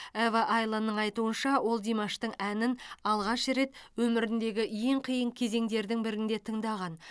ева айланның айтуынша ол димаштың әнін алғаш рет өміріндегі ең қиын кезеңдердің бірінде тыңдаған